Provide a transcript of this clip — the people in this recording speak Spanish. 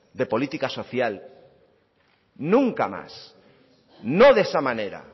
de política social nunca más no de esa manera